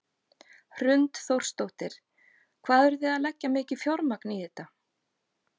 Hrund Þórsdóttir: Hvað eru þið að leggja mikið fjármagn í þetta?